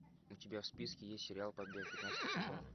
у тебя в списке есть сериал побег пятнадцатый сезон